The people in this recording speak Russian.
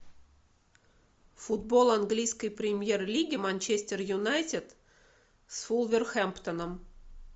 футбол английской премьер лиги манчестер юнайтед с вулверхэмптоном